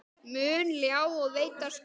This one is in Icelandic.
mun ljá og veita skjól.